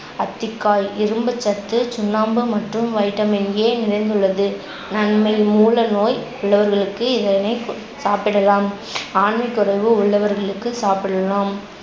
அத்திக்காய் இரும்புச்சத்து, சுண்ணாம்பு மற்றும் vitamin A நிறைந்துள்ளது. நன்மை மூல நோய் உள்ளவர்களுக்கு இதனை கு~ சாப்பிடலாம். ஆண்மைக்குறைவு உள்ளவர்களுக்கு சாப்பிடலாம்